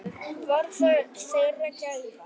Var það þeirra gæfa.